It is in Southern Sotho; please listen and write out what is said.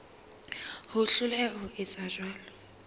ho hloleha ho etsa jwalo